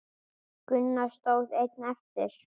Gunnar stóð einn eftir.